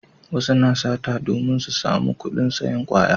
Wasu na sata domin su samu kudin sayan kwaya